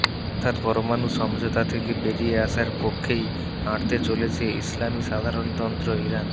অর্থাৎ পরমাণু সমঝোতা থেকে বেরিয়ে আসার পক্ষেই হাঁটতে চলেছে ইসলামি সাধারণতন্ত্র ইরান